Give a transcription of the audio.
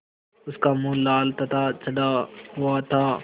उसका मुँह लाल तथा चढ़ा हुआ था